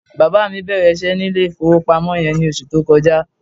Bàbá mi bẹ̀rẹ̀ iṣẹ́ ní ilé-ìfowópamọ́ yẹn ní oṣù tó kọjá.